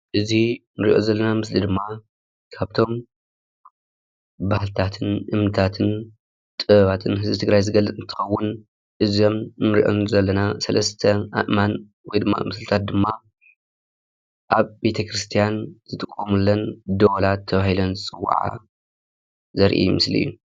እዝ እኒርኦ ዘለና ምስሊ እዝ ድማ ካብቶሞ ባህልታት እምኒታት ጥበባትን ህዝቢ ትግራይ ዝግልፅ እንትከዉን አዞሞ አኒርኦሞ ዘለና ሰለስተ ኣእማና ወይ ዲማ ምስልታት ዲማ ኣብ ቤት ክርስትያን ዝጥቀምሎን ኣብ ቤትክርስትን ደወላት ተባሂለን ዝፅዋዓ ዘርእ ምስሊ እዩ፡፡